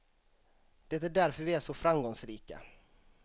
Det är därför vi är så framgångsrika.